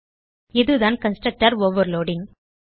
இதுதான் constructor overloading